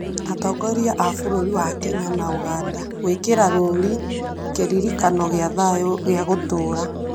Atongoria a bururi wa Kenya na Ũganda gwĩkĩra rũũri kĩrĩkanĩro gĩa thayũ gĩa gũtũũra